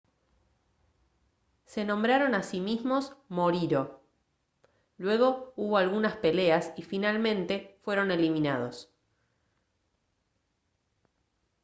se nombraron a sí mismos moriori luego hubo algunas peleas y finalmente fueron eliminados